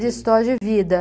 De história de vida.